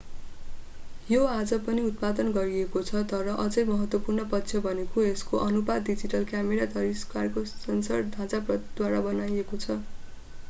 यो आज पनि उत्पादन गरिएको छ तर अझै महत्त्वपूर्ण पक्ष भनेको यसको अनुपात डिजिटल क्यामेरा तस्वीरको सेन्सर ढाँचाद्वारा बनाएको छ